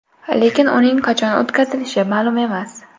Lekin uning qachon o‘tkazilishi ma’lum emas.